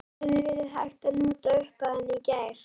Hefði verið hægt að nota upphæðina í gær?